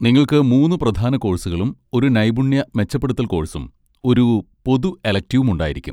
നിങ്ങൾക്ക് മൂന്ന് പ്രധാന കോഴ്സുകളും ഒരു നൈപുണ്യ മെച്ചപ്പെടുത്തൽ കോഴ്സും ഒരു പൊതു എലെക്റ്റിവും ഉണ്ടായിരിക്കും.